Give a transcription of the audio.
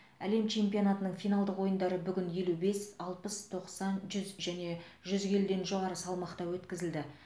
әлем чемпионатының финалдық ойындары бүгін елу бес алпыс тоқсан жүз және жүз келіден жоғары салмақта өткізілді